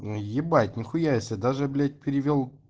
но ебать нехуя себе даже блять перевёл